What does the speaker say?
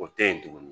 O tɛ yen tuguni